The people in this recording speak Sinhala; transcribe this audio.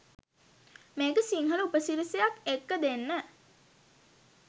මේක සිංහල උපසි‍රැසියක් එක්ක දෙන්න.